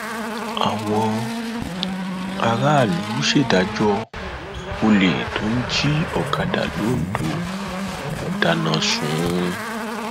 àwọn aráàlú ṣèdájọ olè tó ń jí òkàdá lońdó wọn dáná sun ún